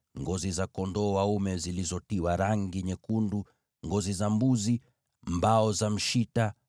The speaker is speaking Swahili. ngozi za kondoo dume zilizopakwa rangi nyekundu, na ngozi za pomboo; mbao za mshita;